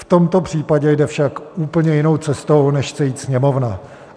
V tomto případě jde však úplně jinou cestou, než chce jít Sněmovna.